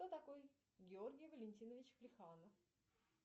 кто такой георгий валентинович плеханов